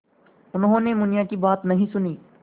उन्होंने मुनिया की बात नहीं सुनी